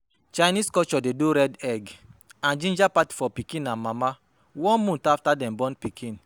Chinese culture de do red egg and ginger party for pikin and mama one month after dem born pikin